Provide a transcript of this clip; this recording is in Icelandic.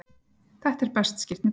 Þetta er best skýrt með dæmi: